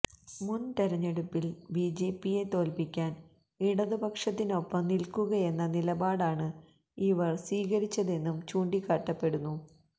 മുൻ തിരഞ്ഞെടുപ്പിൽ ബിജെപിയെ തോൽപ്പിക്കാൻ ഇടതുപക്ഷത്തിന് ഒപ്പം നിൽക്കുകയെന്ന നിലപാടണ് ഇവർ സ്വീകരിച്ചതെന്നും ചൂണ്ടിക്കാട്ടപ്പെടുന്നു